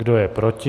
Kdo je proti?